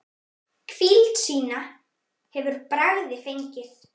Hvíld sína hefur Bragi fengið.